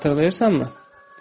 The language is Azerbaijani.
Xatırlayırsanmı?